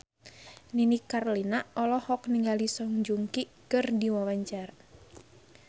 Nini Carlina olohok ningali Song Joong Ki keur diwawancara